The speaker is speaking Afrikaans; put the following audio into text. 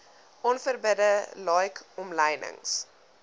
onverbidde like omlynings